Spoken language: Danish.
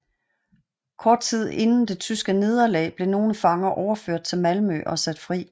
Kort tid inden det tyske nederlag blev nogle fanger overført til Malmø og sat fri